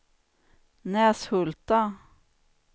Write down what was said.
Näshulta